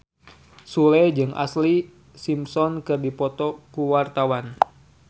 Sule jeung Ashlee Simpson keur dipoto ku wartawan